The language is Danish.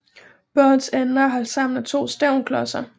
Bådens ender er holdt sammen af to stævnklodser